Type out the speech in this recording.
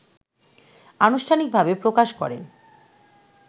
আনুষ্ঠানিকভাবে প্রকাশ করেন